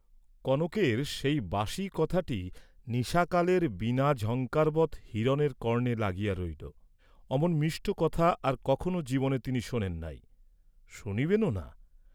কনকের সেই বাসি কথাটি নিশাকালের বীণাঝঙ্কারবৎ হিরণের কর্ণে লাগিয়া রহিল, অমন মিষ্ট কথা আর কখনও জীবনে তিনি শোনেন নাই, শুনিবেনও না।